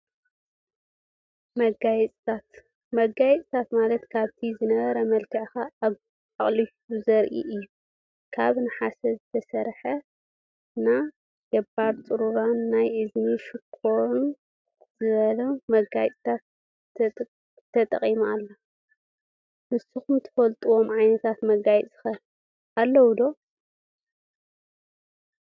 መጋየፂታት፦ መጋየፂ ማለት ካብቲ ዝነበረ መልክዕ ኣቁሊሁ ዘርኢ እዩ። ካብ ነሓስ ዝተሰረሐ ና ገበር ፅሩራን ናይ እዝኒ ሻኩርን ዝበሉ መጋፂታት ተጠቂማ ኣላ። ንስኩም ትፈልጥዎም ዓይነታት መጋየፂታት ከ ኣለው ዶ?